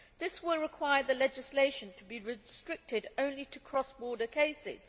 This will require the legislation to be restricted only to cross border cases.